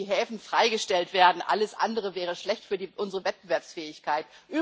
Es müssen die Häfen freigestellt werden alles andere wäre schlecht für unsere Wettbewerbsfähigkeit.